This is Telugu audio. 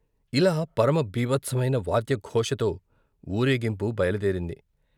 ఇలా పరమ భీభత్సమైన వాద్య ఘోషతో వూరేగింపు బయలుదేరింది.